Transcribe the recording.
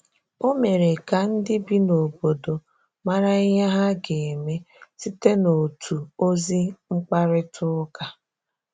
Ọ mere ka ndị bi n’obodo marà ihe ha ga-eme site n’otu ozi mkparịta ụka.